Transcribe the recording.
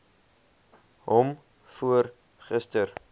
hom voor gister